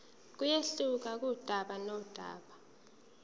kuyehluka kudaba nodaba